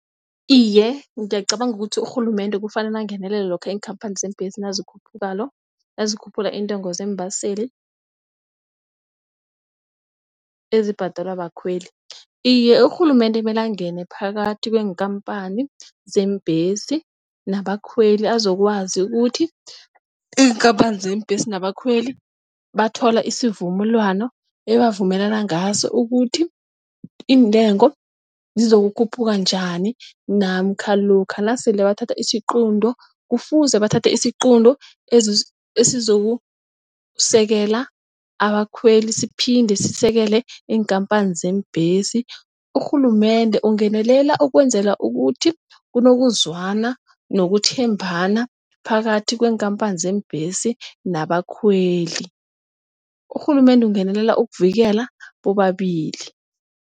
Iye, ngiyacabanga ukuthi urhulumende kufanele angenelele, lokha iinkhamphani zeembhesi nazikhuphula halo nazikhuphula iintengo zeembaseli ezibhadelwa bakhweli. Iye, urhulumende mele angene phakathi kweenkhamphani zeembhesi nabakhweli azokwazi ukuthi iinkampani zeembesi nabakhweli bathola isivumelwano ebebavumela ngaso. Ukuthi intengo zizokukhuphuka njani namkha lokha nasele bathatha isiqunto. Kufuze bathathe isiqunto esizokusekela abakhweli siphinde sisekele iinkhamphani zeembhesi. Urhulumende ukungenelela ukwenzela ukuthi kunokuzwana nokuthembana phakathi kweenkhamphani zeembhesi nabakhweli. Urhulumende kungenelela ukuvikela bobabili.